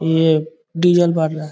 ये डीजल बांट रहा है।